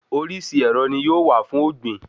Oríṣi ẹ̀rọ ni yóò wà fún ògbìn